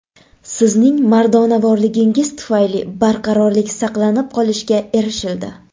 Sizning mardonavorligingiz tufayli barqarorlik saqlanib qolishga erishildi.